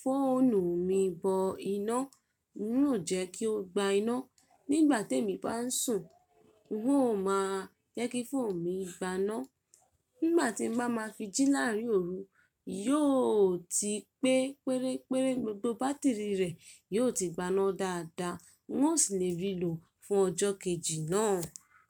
fóònù mi bọ iná, n ó jẹ́ kí ó gba iná. Nígbà tí èmi bá ń sùn, n ó máa jẹ́ kí fóònù mi gbaná. Nígbà tí n bá máa fijí láàárín òru, yóò ti pé pérére, gbogbo bátìrì rẹ̀ yóò ti gbaná dáadáa. N ó sì lè rí i lò fún ọjọ́ kejì náà.